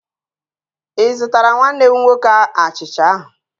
Ị zụtara nwanne m nwoke achicha ahụ